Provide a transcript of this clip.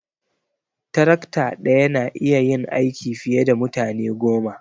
Tarakta daya na iya yin aiki fiye da mutane goma.